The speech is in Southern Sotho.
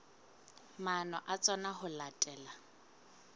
maano a tsona ho latela